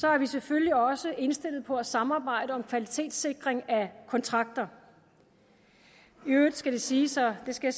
er vi selvfølgelig også indstillet på at samarbejde om kvalitetssikring af kontrakter i øvrigt skal det siges og det skal